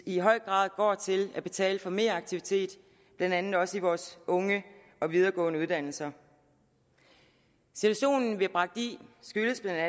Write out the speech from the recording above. i høj grad går til at betale for mere aktivitet blandt andet også i vores unge og videregående uddannelser situationen vi er bragt i skyldes bla